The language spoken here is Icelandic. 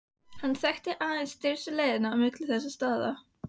Og hann þekkti aðeins stystu leiðina á milli þessara staða.